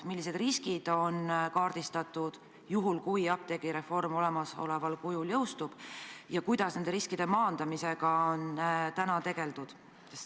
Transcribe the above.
Millised riskid on kaardistatud, juhul kui apteegireform saab olemasoleval kujul teoks, ja kuidas nende riskide maandamisega on täna tegeldud?